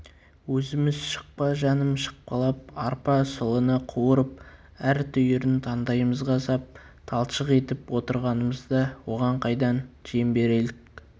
өзіміз шықпа жаным шықпалап арпа сұлыны қуырып әр түйірін таңдайымызға сап талшық етіп отырғанымызда оған қайдан жем берелік